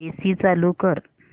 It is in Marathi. एसी चालू कर